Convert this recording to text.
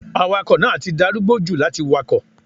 Awakọ̀ náà ti darúgbó jù láti wakọ̀.